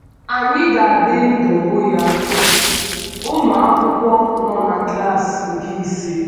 Ànyị ga - adị ndụ hụ ya? ’— Ụmụ akwụkwọ nọ na klas nke ise